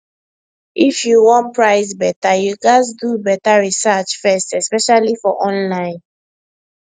if you wan price better you gats do better research first especially for online